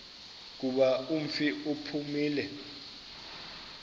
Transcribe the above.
kuba umfi uphumile